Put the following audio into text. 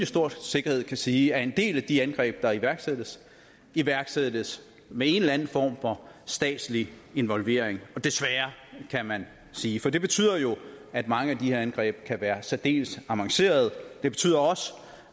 stor sikkerhed kan sige at en del af de angreb der iværksættes iværksættes med en eller anden form for statslig involvering desværre kan man sige for det betyder jo at mange af de her angreb kan være særdeles avancerede det betyder også